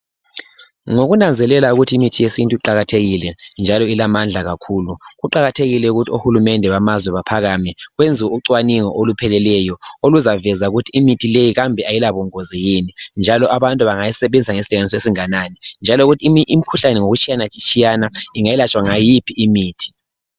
Ngokunanzelela ukuthi imithi yesintu iqakathekile njalo ilamandla kakhulu kuqakathekile ukuthi ohulumende bamazwe baphakame benze ucwaningo olupheleleyo kuzaveza ukuthi imithi le kambe ayilabungozi yini njalo abantu bengayisebenzisa ngesilinganiso esinganani njalo imikhuhlane ngokutshiyana tshiyana ingelatshwa ngayiphi imithi